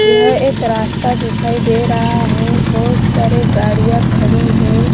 यह एक रास्ता दिखाई दे रहा है बहुत सारे गाड़ियां खड़ी है।